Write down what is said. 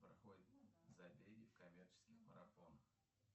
проходят забеги в коммерческих марафонах